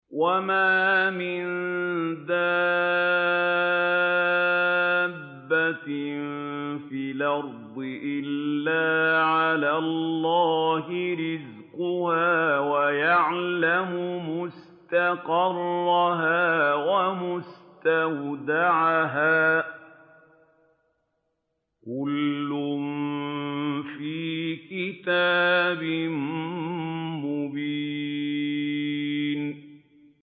۞ وَمَا مِن دَابَّةٍ فِي الْأَرْضِ إِلَّا عَلَى اللَّهِ رِزْقُهَا وَيَعْلَمُ مُسْتَقَرَّهَا وَمُسْتَوْدَعَهَا ۚ كُلٌّ فِي كِتَابٍ مُّبِينٍ